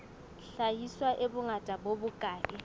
hlahiswa e bongata bo bokae